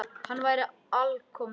Hún væri alkomin heim.